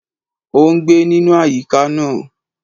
O n gbé nínú àyíká náà